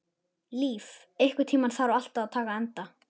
Líf, einhvern tímann þarf allt að taka enda.